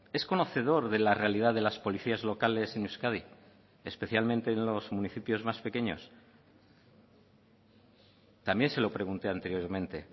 es conocedor de la realidad de las policías locales en euskadi especialmente en los municipios más pequeños también se lo pregunté anteriormente